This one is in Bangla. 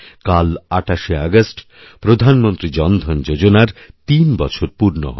কাল ২৮শে আগষ্ট প্রধানমন্ত্রী জনধন যোজনার তিন বছর পূর্ণ হবে